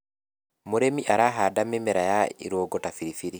mũrĩmi arahanda mĩmera ya irũngo ta biribiri